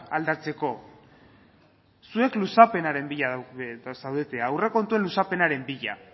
aldatzeko zuek luzapenaren bila zaudete aurrekontuen luzapenaren bila